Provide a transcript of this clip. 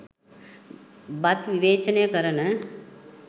බත් විවේචනය කරන